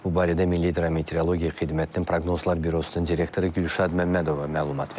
Bu barədə Milli Hidrometeorologiya Xidmətinin Proqnozlar Bürosunun direktoru Gülşad Məmmədova məlumat verib.